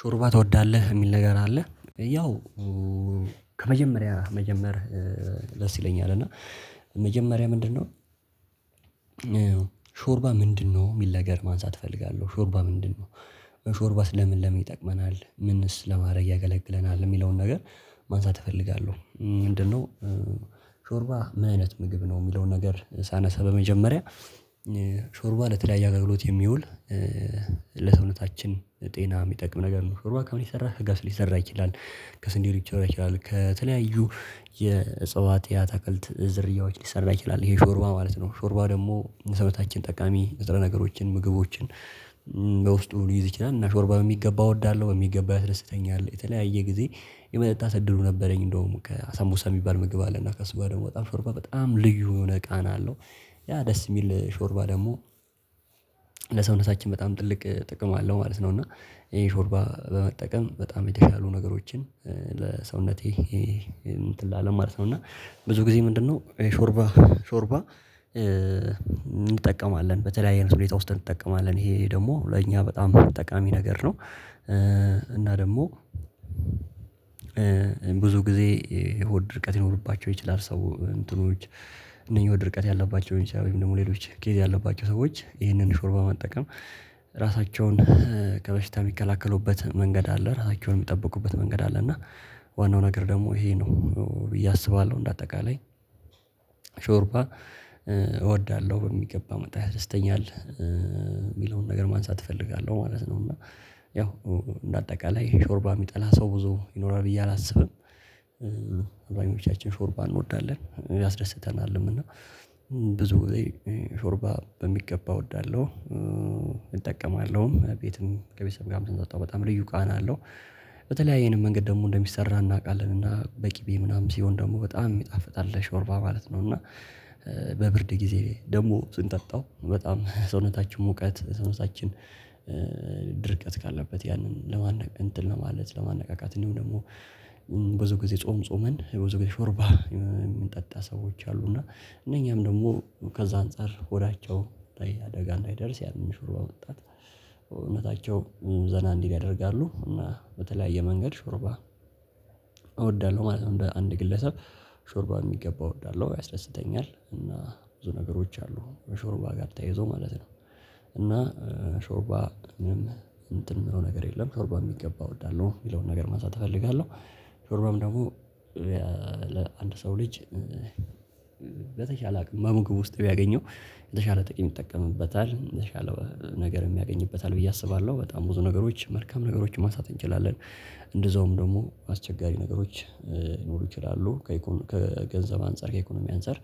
ሾርባ ትወዳለህ የሚል ነገር አለ ያው ከመጀመሪያ መጀመር ደስ ይለኛል እና መጀመሪያ ምንድነው? ሾርባ ምንድነው የሚል ነገር ማንሳት እፈልጋለሁ ሾርባ ምንድነው? ሾርባስ ለምን ለምን ይጠቅመናል ምንስ ለማድረግ ያገለግለናል የሚለውን ነገር ማንሳት እፈልጋለሁ ምንድነው? ሾርባ ምን አይነት ምግብ ነው የሚለውን ነገር ሳነሳ በመጀመሪያ ሾርባ ለተለያየ አገልግሎት የሚውል ለሰውነታችን ጤና የሚጠቅም ነገር ነው። ሾርባ ከምን ይሰራል ከገብስ ሊሰራ ይችላል ከስንዴ ሊሰራ ይችላል ከተለያዩ የእጽዋት የአትክልት ዝርያዎች ሊሰራ ይችላል ይሄ ሾርባ ማለት ነው። ሾርባ ደግሞ ሰበታችን ጠቃሚ የዘረ ነገሮችን ምግቦችን በውስጡ ሊይዝ ይችላል። እና ሾርባ በሚገባ እወዳለሁ በሚገባ ያስደስተኛል የተለያየ ጊዜ የመጠጣት እድሉ ነበረኝ። እንደውም ከአሳሙሳ የሚባል ምግብ አለና ከሱጋ ደግሞ ሾርባ በጣም ልዩ የሆነ ቃና አለው። ያ ደስ የሚል ሾርባ ደግሞ ለሰውነታችን በጣም ትልቅ ጥቅም አለው ማለት ነው። እና ይሄን ሾርባ በመጠቀም በጣም የተሻሉ ነገሮችን ለሰውነቴ እንትን ለአለም ማለት ነው። እና ብዙ ጊዜ ምንድነው ሾርባ ሾርባ እንጠቀማለን በተለያየ ሁኔታ ውስጥ እንጠቀማለን ይሄ ደግሞ ለእኛ በጣም አጠቃሚ ነገር ነው። እና ደግሞ ብዙ ጊዜ የሆድ ድርቀት ይኖርባቸው ይችላል ሰዎች እነኚህ የሆድ ድርቀት ያለባቸው ወይም ደግሞ ሌሎች ኬዝ ያለባቸው ሰዎች ይህንን ሾርባ ማጠቀም ራሳቸውን ከበሽታ የሚከላከሉበት መንገድ አለ ራሳቸውን የሚጠብቁበት መንገድ አለ። እና ዋናው ነገር ደግሞ ይሄ ነው ብዬ አስባለሁ እንደ አጠቃላይ ሾርባ እወዳለሁ በሚገባ መጣ ያስረስተኛል የሚለውን ነገር ማንሳት እፈልጋለሁ ማለት ነው። እና ያው በአጠቃላይ ሾርባ የሚጠላ ሰው ብዙ ይኖራል ብዬ አላስብም አብዛኞቻችን ሾርባ እንወዳለን ያስደስተናልም እና ብዙ ሾርባ በሚገባ እወዳለሁ። እጠቀማለሁም ቤትም ከቤተሰብ ጋር ስጠጣው በጣም ልዩ ቃና አለው። በተለይ ይሄንን መንገድ ደግሞ እንደሚሰራ እናውቃለን እና በቂቤ ምናምን ሲሆን ደግሞ በጣም የሚጣፍጥ አለ ሾርቫ ማለት ነው። እና በብርድ ጊዜ ደግሞ ስንጠጣው በጣም ሰውነታችን ሙቀት ሰውነታችን ድርቀት ካለበት ያንን ለማን እንትን ለማለት ለማነቃቃት እንደው ደግሞ ብዙ ጊዜ ጾም ጾመን ብዙ ጊዜ ሾርባ የምንጠጣ ሰዎች አሉ። እና እነኛም ደግሞ ከዛ አንፃር ሆዳቸው አደጋ እንዳይደርስ ያንን ሹርዋ ወጣት ሰውነታቸው ዘና እንዲህ ያደርጋሉ እና በተለያየ መንገድ ሾርባ እወዳለሁ ማለት ነው። አንድ ግለሰብ ሾርባ የሚገባው እወዳለሁ ያስደስተኛል እና ብዙ ነገሮች አሉ በሾርባ ጋር ተያይዞ ማለት ነው። እና ሾርባ እንደው ነገር የለም ሾርባም የሚገባ እወዳለሁ የሚለውን ነገር ማሳተፍ እፈልጋለሁ። ሾርባም ደግሞ ለአንድ ሰው ልጅ በተሻለ አቅም መሙግብ ውስጥ ቢያገኘው የተሻለ ጥቂት ይጠቀምበታል በተሻለ ነገር የሚያገኝበታል ብዬ አስባለሁ። በጣም ብዙ ነገሮች መልካም ነገሮችን ማሳት እንችላለን እንደዛውም ደግሞ አስቸጋሪ ነገሮች ሊኖሩ ይችላሉ። ከገንዘብ አንፃር ከኢኮኖሚ አንፃር